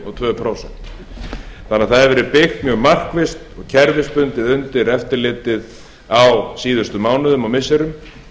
og tvö prósent þannig að það hefur verið deilt mjög markvisst og kerfisbundið undir eftirlitið á síðustu mánuðum og missirum